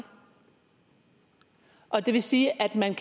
og det vil sige at man